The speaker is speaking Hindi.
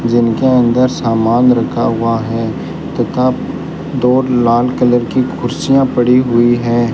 जिनके अंदर सामान रखा हुआ है तथा दो लाल कलर की कुर्सियां पड़ी हुई है।